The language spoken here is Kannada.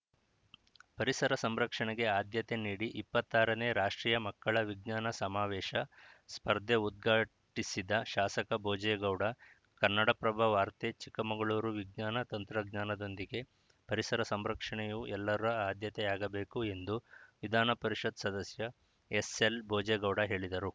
ಪರಿಸರ ಸಂರಕ್ಷಣೆಗೆ ಆದ್ಯತೆ ನೀಡಿ ಇಪ್ಪತ್ತ್ ಆರನೇ ರಾಷ್ಟ್ರೀಯ ಮಕ್ಕಳ ವಿಜ್ಞಾನ ಸಮಾವೇಶ ಸ್ಪರ್ಧೆ ಉದ್ಘಾಟಿಸಿದ ಶಾಸಕ ಭೋಜೇಗೌಡ ಕನ್ನಡಪ್ರಭ ವಾರ್ತೆ ಚಿಕ್ಕಮಗಳೂರು ವಿಜ್ಞಾನ ತಂತ್ರಜ್ಞಾನದೊಂದಿಗೆ ಪರಿಸರ ಸಂರಕ್ಷಣೆಯೂ ಎಲ್ಲರ ಆದ್ಯತೆಯಾಗಬೇಕು ಎಂದು ವಿಧಾನಪರಿಷತ್‌ ಸದಸ್ಯ ಎಸ್‌ಎಲ್‌ಭೋಜೇಗೌಡ ಹೇಳಿದರು